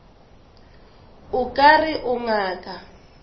o ka re o ngaka